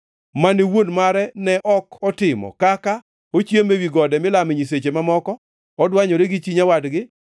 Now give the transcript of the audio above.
mane wuon mare ne ok otimo kaka: “Ochiemo ewi gode milame nyiseche mamoko. Odwanyore gi chi nyawadgi.